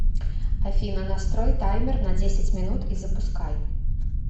афина настрой таймер на десять минут и запускай